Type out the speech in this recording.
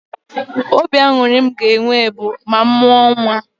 Obi aṅụrị m ga-enwe bụ ma m mụọ nnwa